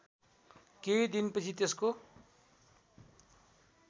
केही दिनपछि त्यसको